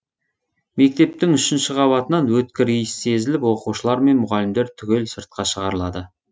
мектептің үшінші қабатынан өткір иіс сезіліп оқушылар мен мұғалімдер түгел сыртқа шығарылады